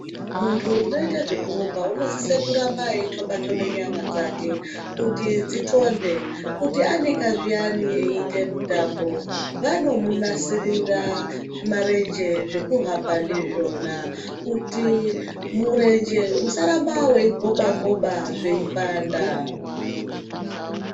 Muntu unoite zvekurumba unosise kuramba eitobe tobe nyama dzake kuti dsithonde kuti anika zviyani eite mutambo vànomunasirira zVimarenje zvekuhambà ndizvona kuti murenje usaramba weigoba goba zveipanda.